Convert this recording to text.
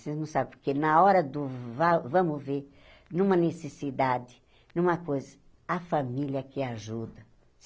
Vocês não sabem, porque na hora do... Vá vamos ver, numa necessidade, numa coisa, a família é que ajuda.